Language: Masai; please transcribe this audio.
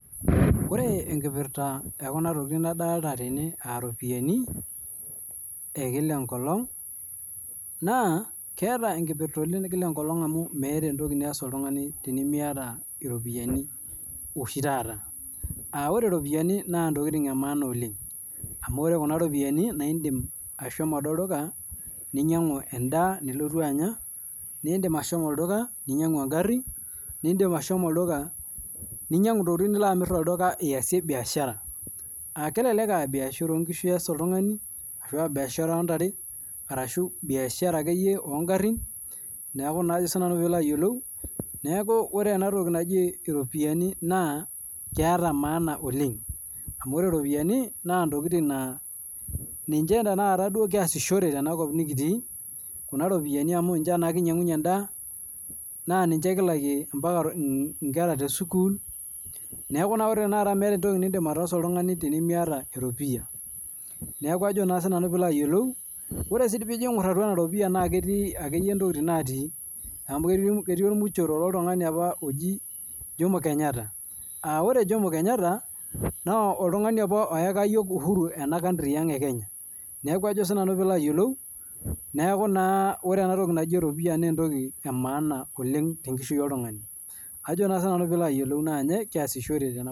Ore enkipirta ekuna tokiting nadolita tene aaropiyiani enkila enkolong, naa keeta enkipirta oleng enkila enkolong amu meeta enatoki niyas oltungani tenimiiyata ropiyiani oshi taata .Ore ropiyiani naa ntokiting emaana oleng, amu ore Kuna ropiyiani naa indim ashomo ade olduka, ninyangu endaa nilotu Anya ,naa indim ashomo olduka ninyangu engari, naa indim ashomo olduka ninyangu ntokiting nilo amir aasie biashara. Kelelek aa biashara oonkishu ees oltungani, ashu biashara oontare ashu akeyie biashara oongarin, neeku ore ena toki naji ropiyiani naa keeta maana oleng. Amu ore ropiyiani ,naa ntokiting naaa ninche duo kiasishore tenakop nikitii, Kuna ropiyiani amu ninche naa kinyangunyie endaa, naa ninche kilakie mpaka nkera tesukul, neeku naa tenakata meeta enatoki nindim oltungani ataasa miyata eropiyia. Ore sii pijo aingor ena ropiyiani naa ketii ntokiting natii, amu ketii ormuchoro loltungani apa oji jomo kenyatta .Ore kenyata, naa oltungani apa oyakaki yiok uhuru ena country enkenya. Neeku naa ore enatoki naji eropiyia naa entoki emaana oleng tenkishui oltungani naa ninye kiashore.